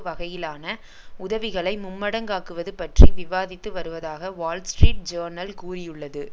வகையிலான உதவிகளை மும்மடங்காக்குவது பற்றி விவாதித்து வருவதாக வால்ஸ்ட்ரீட் ஜேர்னல் கூறியுள்ளது